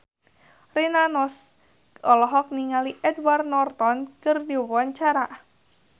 Rina Nose olohok ningali Edward Norton keur diwawancara